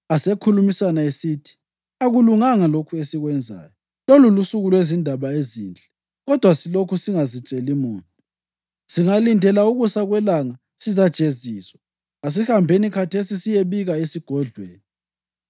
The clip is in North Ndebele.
Asekhulumisana esithi, “Akulunganga lokhu esikwenzayo. Lolu lusuku lwezindaba ezinhle kodwa silokhu singazitsheli muntu. Singalindela ukusa kwelanga sizajeziswa. Asihambeni khathesi siyebika esigodlweni.”